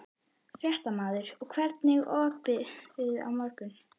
Fréttamaður: Og hvernig er opið á morgun?